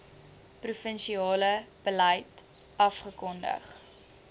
provinsiale beleid afgekondig